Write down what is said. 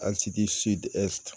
Asidi